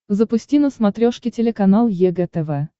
запусти на смотрешке телеканал егэ тв